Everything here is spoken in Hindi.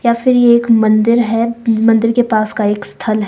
या फिर ये एक मंदिर है मंदिर के पास का एक स्थल है।